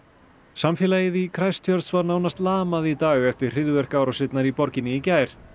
samfélagið í var nánast lamað í dag eftir hryðjuverkaárásirnar í borginni í gær